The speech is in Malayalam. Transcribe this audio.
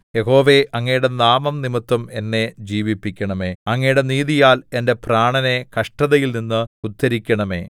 യഹോവേ അങ്ങയുടെ നാമംനിമിത്തം എന്നെ ജീവിപ്പിക്കണമേ അങ്ങയുടെ നീതിയാൽ എന്റെ പ്രാണനെ കഷ്ടതയിൽനിന്ന് ഉദ്ധരിക്കണമേ